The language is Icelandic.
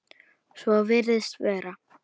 Svo virðist vera.